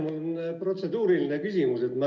Mul on protseduuriline küsimus.